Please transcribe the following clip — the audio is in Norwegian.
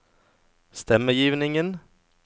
stemmegivningen